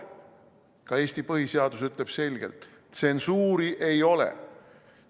Ka Eesti põhiseadus ütleb selgelt: tsensuuri ei ole.